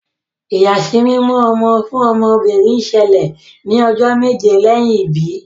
ìyàsímímọ ọmọ fún ọmọ obìrin ṣẹlẹ ní ojó méje lẹyìn ibí.